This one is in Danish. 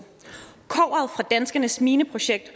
kobberet fra danskernes mineprojekt